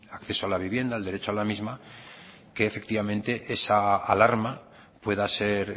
acceso a la vivienda el derecho a la misma que efectivamente esa alarma pueda ser